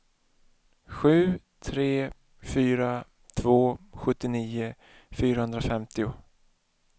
sju tre fyra två sjuttionio fyrahundrafemtio